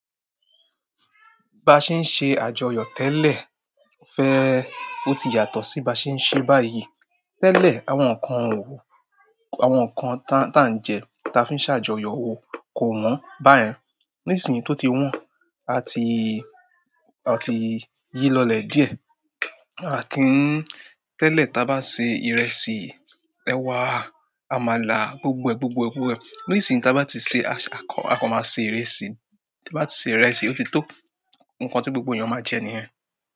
Bi a ṣe ń ṣe àjọyọ̀ tẹ́lẹ̀ fẹ́, ó ti yàtọ̀ sí bi a ṣe ń ṣe báyìí. Tẹ́lẹ̀, àwọn nǹkan wo, àwọn nǹkan táà ń jẹ ta fi ṣe àjọyọ̀ wo kò wọ̀n. Báyìí, nísìnyí tó ti wọ́n, a ti, a ti yí lọlẹ̀ díẹ̀. A kì í tẹ́lẹ̀ táa bá ṣe ìrẹsì, ẹ̀wa, àmàlà, gbogbo ẹ̀, gbogbo ẹ̀, gbogbo ẹ̀. Nísìnyí táa bá ti ṣe, aa kan máa ṣe ìrẹsì, táa bá ṣe ìrẹsì, ó ti tó. Ǹkan tí gbogbo ènìyàn máa jẹ ní yẹn.